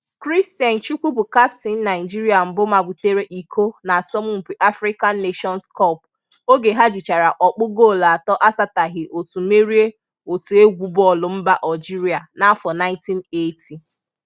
Christian Chukwu bụ kaptịn Naịjirịa mbụ mabutere iko n'asọmpi African Nations Cup oge ha jichara ọkpụ goolu atọ asataghị otu merie otu egwu bọọlụ mba Ọljirịa n'afọ 1980